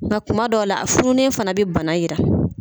Nka kuma dɔw la a fununnen fana be bana yira.